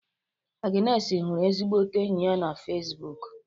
Agnesi hụrụ ezigbote enyi ya na Fesbụụk